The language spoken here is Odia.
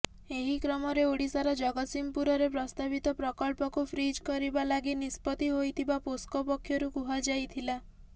ଏହି କ୍ରମରେ ଓଡ଼ିଶାର ଜଗତସିଂହପୁରରେ ପ୍ରସ୍ତାବିତ ପ୍ରକଳ୍ପକୁ ଫ୍ରିଜ୍ କରିବା ଲାଗି ନିଷ୍ପତ୍ତି ହୋଇଥିବା ପୋସ୍କୋ ପକ୍ଷରୁ କୁହାଯାଇଥିଲା